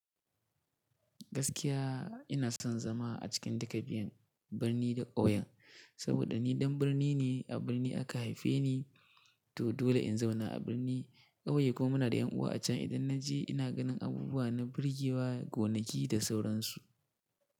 Gaskiya ina son zama a cikin duka biyan birni da ƙauyen, saboda ni ɗan birni ne a birni aka haife ni to dole in zauna a birni. Ƙauye kuma ina da ƴan uwa a can idan na je ina ganin abubuwa na birgewa gonaki da sauransu.